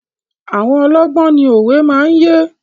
Àwọn ọlọ́gbọ́n ni òwe máa ń yé.